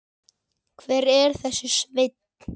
Hver er þessi Sveinn?